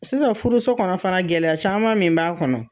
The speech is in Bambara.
Sisan furuso kɔnɔ fana gɛlɛya caman min b'a kɔnɔ